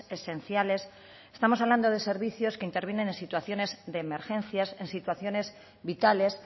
esenciales estamos hablando de servicios que intervienen en situaciones de emergencias en situaciones vitales